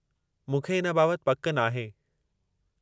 मूंखे इन बाबति पकि नाहे।